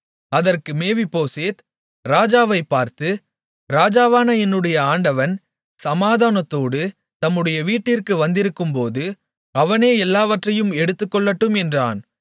அதற்கு மேவிபோசேத் ராஜாவைப் பார்த்து ராஜாவான என்னுடைய ஆண்டவன் சமாதானத்தோடு தம்முடைய வீட்டிற்கு வந்திருக்கும்போது அவனே எல்லாவற்றையும் எடுத்துக்கொள்ளட்டும் என்றான்